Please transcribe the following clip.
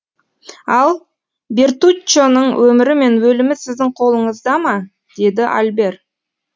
ал бертуччоның өмірі мен өлімі сіздің қолыңызда ма деді альбер